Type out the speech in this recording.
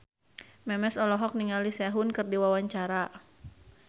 Memes olohok ningali Sehun keur diwawancara